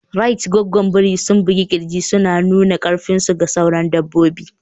Rait Gwaggwan biri sun bugi kirji suna nuna karfinsu ga sauran dabbobi.